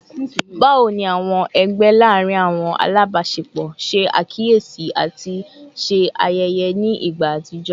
Bawo ni awọn ẹgbẹ laarin awọn alabaṣepọ ṣe akiyesi ati ṣe ayẹyẹ ni igba atijọ?